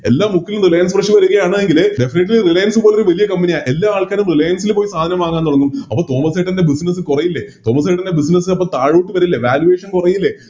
എല്ലാ മുക്കിലും Reliance fresh വരുകയാണ് എങ്കില് Definitely reliance പോലൊരു വലിയ Company യ എല്ലാ ആൾക്കാരും Reliance ല് പോയി സാധനം വാങ്ങാൻ തുടങ്ങും അപ്പൊ തോമസ്സേട്ടൻറെ Business കൊറയില്ലേ തോമസ്സേട്ടൻറെ Business അപ്പൊ താഴോട്ട് വരില്ലേ Valuation കുറയില്ലേ